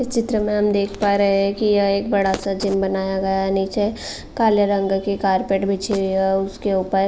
इस चित्र में हम देख पा रहे हैं की यह एक बड़ा सा जिम बनाया गया है नीचे काले रंग की कार्पेट बिछी हुई है उसके ऊपर --